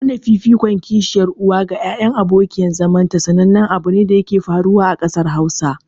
Nuna fifikon kishiyar uwa ga ƴaƴan abokiyar zamanta sanannen abune da yake faruwa a ƙasar Hausa.